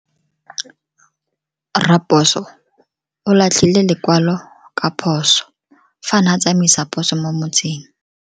Raposo o latlhie lekwalo ka phoso fa a ne a tsamaisa poso mo motseng.